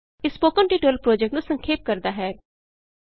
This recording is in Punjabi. ਇਹ ਸਪੋਕਨ ਟਿਯੂਟੋਰਿਅਲ ਪੋ੍ਰਜੈਕਟ ਨੂੰ ਸੰਖੇਪ ਕਰਦਾ ਹੈ